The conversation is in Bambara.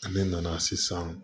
Ne nana sisan